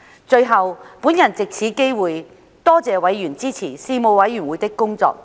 最後，我藉此機會多謝委員支持事務委員會的工作。